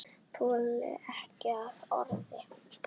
Þoldi ekki það orð.